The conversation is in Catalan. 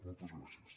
moltes gràcies